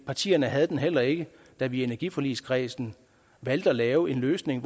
partierne havde den heller ikke da vi i energiforligskredsen valgte at lave en løsning